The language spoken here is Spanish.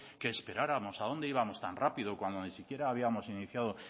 que esperáramos que a dónde íbamos tan rápido cuando ni siquiera habíamos iniciado